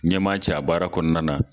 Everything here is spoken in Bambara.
Ɲɛmaa ca a baara kɔnɔna na